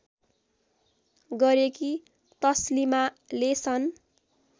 गरेकी तसलीमाले सन्